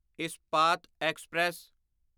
Ispat express